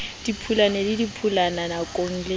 diphula le diphulana dinoka le